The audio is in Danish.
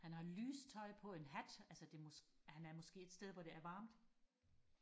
han har lyst tøj på en hat altså det må han er måske et sted hvor det er varmt